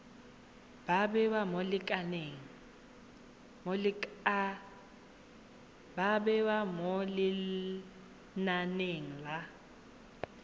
ba bewa mo lenaneng la